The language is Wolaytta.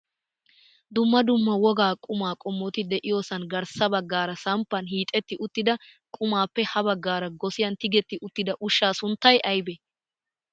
Dumma dumma wogaa qumaa qommoti de'iyoosan garssa baggaara samppan hiixetti uttida qumaappe ha baggaara gosiyaan tigetti uttida ushshaa sunttay aybee?